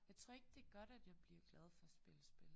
Jeg tror ikke det godt at jeg bliver glad for at spille spil